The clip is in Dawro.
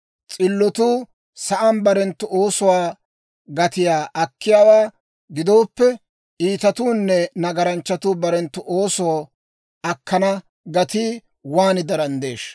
S'illotuu sa'aan barenttu oosuwaa gatiyaa akkiyaawaa gidooppe, iitatuunne nagaranchchatuu barenttu oosoo akkana gatii waan daranddeeshsha!